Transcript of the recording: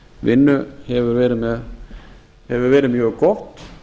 vinnu hefur verið mjög gott